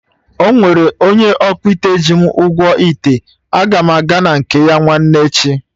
Ọnwere onye ọkpụite ji m ụgwọ ite, aga m aga na nke ya nwanne echi